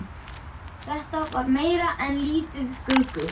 Þetta var meira en lítið gruggugt.